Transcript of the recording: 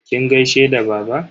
Kin gaishe da baba?